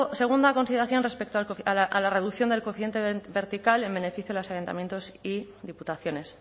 segunda consideración respecto a la reducción del coeficiente vertical en beneficio de los ayuntamientos y diputaciones